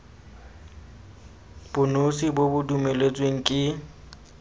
bonosi bo bo dumeletsweng ke